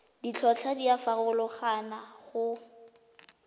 ditlhotlhwa di a farologana go